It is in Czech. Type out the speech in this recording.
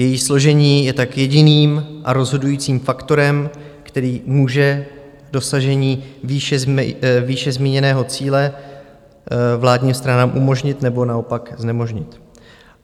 Její složení je tak jediným a rozhodujícím faktorem, který může dosažení výše zmíněného cíle vládním stranám umožnit, nebo naopak znemožnit.